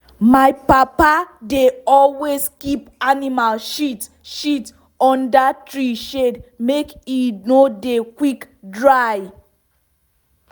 my papa dey always keep animal shit shit under tree shade make e no dey quick dry.